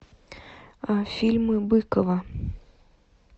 фильмы быкова